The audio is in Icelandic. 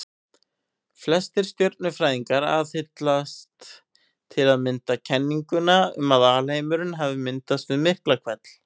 Flestir stjörnufræðingar aðhyllast til að mynda kenninguna um að alheimurinn hafi myndast við Miklahvell.